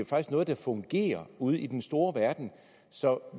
faktisk noget der fungerer ude i den store verden så